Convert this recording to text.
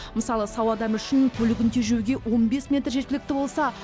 мысалы сау адам үшін көлігін тежеуге он бес метр жеткілікті болса